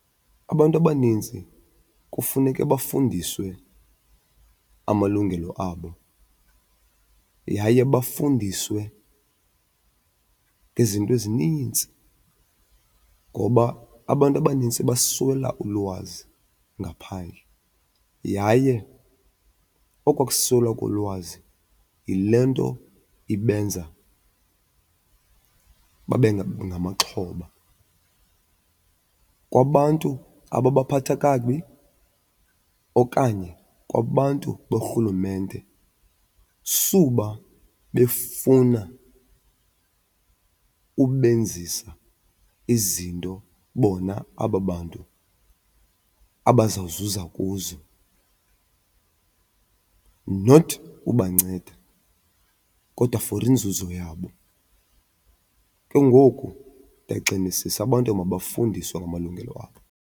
Abantu abaninzi kufuneke bafundiswe amalungelo abo yaye bafundiswe izinto ezinintsi ngoba abantu abanintsi baswela ulwazi ngaphandle yaye okwaa kuswelwa kolwazi yile nto ibenza babe ngamaxhoba. Kwabantu ababaphatha kakubi okanye kwabantu borhulumente suba befuna ubenzisa izinto bona aba bantu abazawuzuza kuzo, not ubanceda kodwa for inzuzo yabo. Ke ngoku ndiyagxinisisa abantu mabafundiswe ngamalungelo abo.